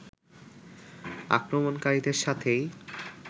আক্রমণকারীদের সাথেই